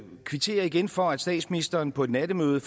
kvitterer igen for at statsministeren på et nattemøde